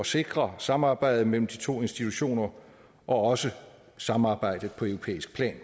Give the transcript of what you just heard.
sikre samarbejdet mellem de to institutioner og også samarbejdet på europæisk plan